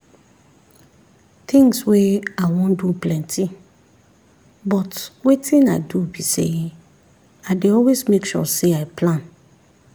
things wey i wan do plenty but wetin i do be say i dey always make sure say i plan